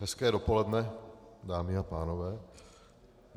Hezké dopoledne, dámy a pánové.